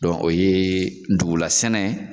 Dɔn o ye ndugula sɛnɛ